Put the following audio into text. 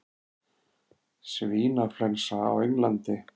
Svínaflensa á Englandi